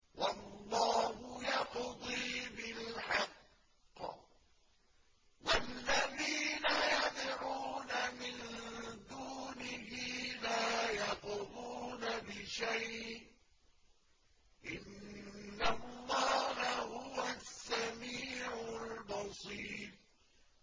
وَاللَّهُ يَقْضِي بِالْحَقِّ ۖ وَالَّذِينَ يَدْعُونَ مِن دُونِهِ لَا يَقْضُونَ بِشَيْءٍ ۗ إِنَّ اللَّهَ هُوَ السَّمِيعُ الْبَصِيرُ